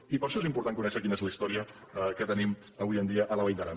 i per això és important conèixer quina és la història que tenim avui en dia a la vall d’aran